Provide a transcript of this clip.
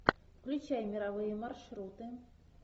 включай мировые маршруты